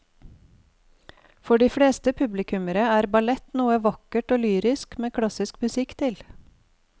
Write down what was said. For de fleste publikummere er ballett noe vakkert og lyrisk med klassisk musikk til.